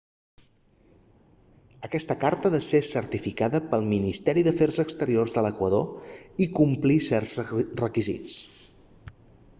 aquesta carta ha de ser certificada pel ministeri d'afers exteriors de l'equador i complir certs requisits